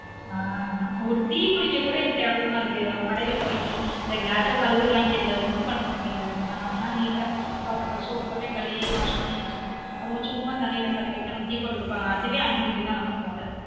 ஆஹ் ஒரு டீ குடிக்க கூட கெவ்லமா இருக்கு கடைல போய் இந்த glass கலுவுராய்ங்க இல்ல ஒன்னும் பண்றாய்ங்க இல்ல நம்ம நம்மனா neat soap போட்டே கலுவி wash பண்ணி வச்சுடுவொம் அவங்க சும்மா தண்ணில கலுவிட்டு டீ போட்டு குடுப்பாங்க அதுவே unhealthy தான் நமக்கு மொத